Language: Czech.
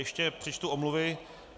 Ještě přečtu omluvy.